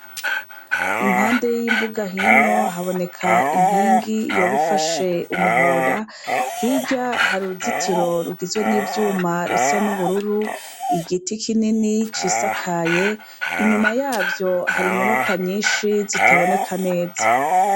Impande y'imbuga hino haboneka inkingi yoba ifashe umuhora, hirya har'uruzitiro rugizwe n'ivyuma rusa n'ubururu, igiti kinini cisakaye. Inyuma yavyo hari inyubakwa nyinshi zitaboneka neza.